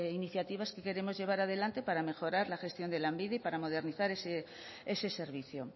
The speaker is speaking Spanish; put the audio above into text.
iniciativas que queremos llevar adelante para mejorar la gestión de lanbide y para modernizar ese servicio